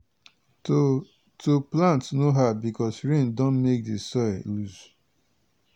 to to plant no hard because rain don make di soil dey loose.